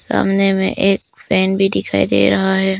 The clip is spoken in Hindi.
सामने में एक फैन भी दिखाई दे रहा है।